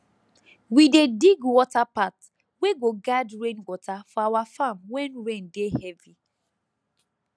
we dey dig water path wey go guide rain water for our farm when rain dey heavy